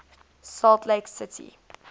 salt lake city